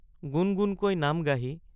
গুণ গুণকৈ নাম গাহি।